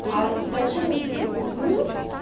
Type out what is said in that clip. а зачем нести хуйню